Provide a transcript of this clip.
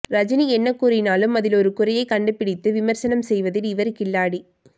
ரஜினி என்ன கூறினாலும் அதில் ஒரு குறையை கண்டுபிடித்து விமர்சனம் செய்வதில் இவர் கில்லாடி